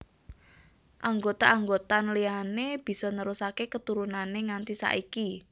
Anggota anggotan liyané bisa nerusaké keturunané nganti saiki